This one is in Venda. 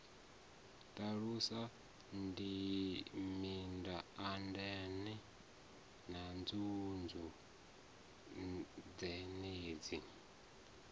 ṱalusa mindaandaane na nzunzu dzenedzi